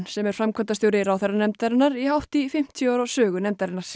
sem er framkvæmdastjóri ráðherranefndarinnar í hátt í fimmtíu ára sögu nefndarinnar